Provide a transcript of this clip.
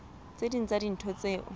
tse ding tsa dintho tseo